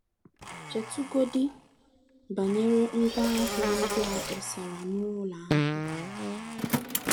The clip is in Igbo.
Chetụgodị banyere ngwá ahịa ndị a kpọsara n’ụlọ ahịa.